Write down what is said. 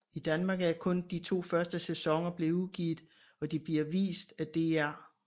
I Danmark er kun de to første sæsoner blevet udgivet og de bliver vist af DR